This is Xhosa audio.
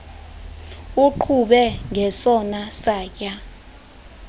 uqhube ngesona satya